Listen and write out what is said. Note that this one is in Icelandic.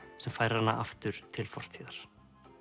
sem færir hana aftur til fortíðar